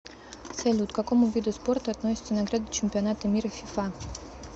салют к какому виду спорта относится награды чемпионата мира фифа